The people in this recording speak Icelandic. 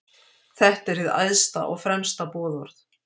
Þetta er hið æðsta og fremsta boðorð.